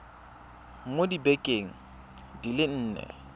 mo dibekeng di le nne